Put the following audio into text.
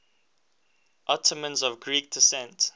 ottomans of greek descent